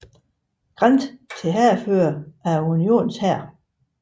Grant til hærfører af Unionens hær